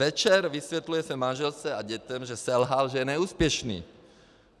Večer vysvětluje své manželce a dětem, že selhal, že je neúspěšný.